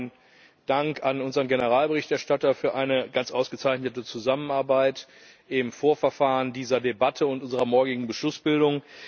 Zunächst mal meinen Dank an unseren Generalberichterstatter für eine ganz ausgezeichnete Zusammenarbeit im Vorverfahren dieser Debatte und unserer morgigen Beschlussbildung.